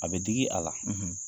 A bɛ digi a la.